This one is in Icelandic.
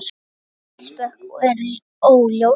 Eldsupptök eru óljós